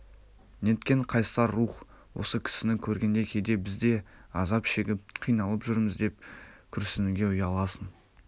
неткен қайсар рух осы кісіні көргенде кейде біз де азап шегіп қиналып жүрміз деп күрсінуге ұяласың